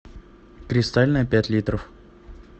кристальная пять литров